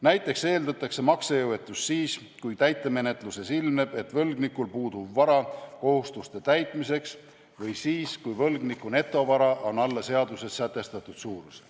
Näiteks eeldatakse maksejõuetust siis, kui täitemenetluses ilmneb ilmneb, et võlgnikul puudub vara kohustuste täitmiseks, või siis, kui võlgniku netovara on alla seaduses sätestatud suuruse.